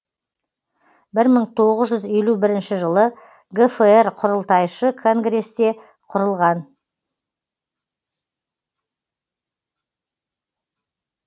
бір мың тоғыз жүз елу бір жылы гфр құрылтайшы конгресте құрылған